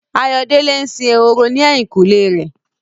Ayọ̀mídé ń sin ehoro ní ẹ̀yìnkùlé rẹ̀.